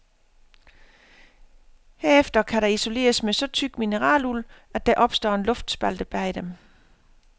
Herefter kan der isoleres med så tyk mineraluld, at der opstår en luftspalte bag den.